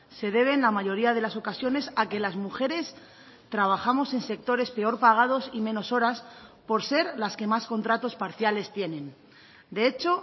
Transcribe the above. se debe en la mayoría de las ocasiones a que las mujeres trabajamos en sectores peor pagados y menos horas por ser las que más contratos parciales tienen de hecho